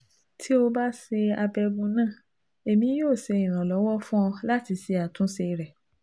Ti o ba ṣe abẹgun naa, Emi yoo ṣe iranlọwọ fun ọ lati ṣe atunṣe rẹ